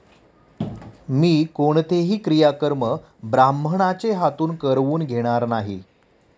मी कोणतेही क्रियाकर्म ब्राह्मणाचे हातून करवून घेणार नाही.